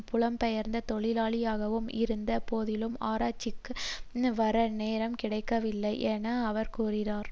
புலம்பெயர்ந்த தொழிலாளியாகவும் இருந்த போதிலும் ஆர்ப்பாட்டத்திற்கு வர நேரம் கிடைக்கவில்லை என அவர் கூறினார்